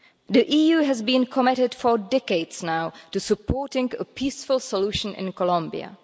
The EU has been committed for decades now to supporting a peaceful solution in Colombia.